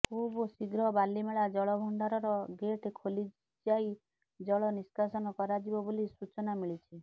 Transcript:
ଖୁବ୍ ଶୀଗ୍ର ବାଲିମେଳା ଜଳଭଣ୍ଡାରର ଗେଟ ଖୋଲାଯାି ଜଳ ନିଷ୍କାସନ କରାଯିବ ବୋଲି ସୂଚନା ମିଳିଛି